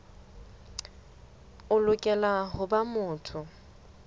o lokela ho ba motho